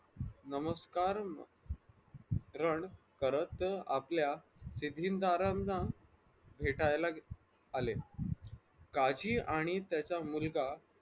नमस्कारानं करत आपल्या भेटायला आले काजी आणि त्याचा मुलगा